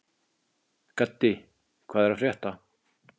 Gaddi, hvað er að frétta?